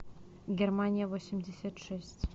германия восемьдесят шесть